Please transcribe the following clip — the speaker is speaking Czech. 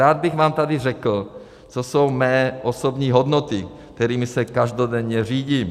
Rád bych vám tady řekl, co jsou mé osobní hodnoty, kterými se každodenně řídím.